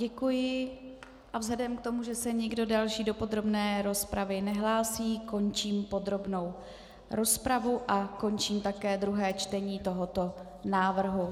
Děkuji a vzhledem k tomu, že se nikdo další do podrobné rozpravy nehlásí, končím podrobnou rozpravu a končím také druhé čtení tohoto návrhu.